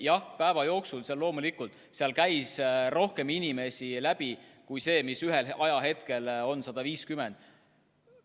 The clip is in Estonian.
Jah, päeva jooksul sealt loomulikult käis rohkem inimesi läbi kui 150.